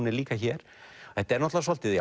líka hér þetta er náttúrulega svolítið